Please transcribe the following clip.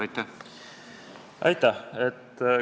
Aitäh!